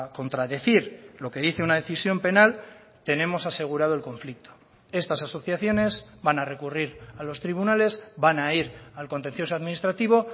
contradecir lo que dice una decisión penal tenemos asegurado el conflicto estas asociaciones van a recurrir a los tribunales van a ir al contencioso administrativo